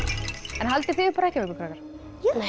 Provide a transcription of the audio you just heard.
haldið þið upp á hrekkjavöku krakkar nei